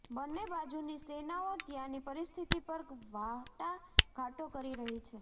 બંને બાજુની સેનાઓ ત્યાંની પરિસ્થિતિ પર વાટાઘાટો કરી રહી છે